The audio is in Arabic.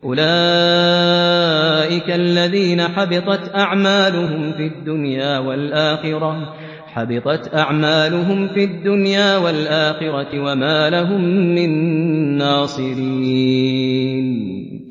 أُولَٰئِكَ الَّذِينَ حَبِطَتْ أَعْمَالُهُمْ فِي الدُّنْيَا وَالْآخِرَةِ وَمَا لَهُم مِّن نَّاصِرِينَ